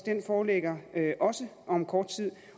foreligger også om kort tid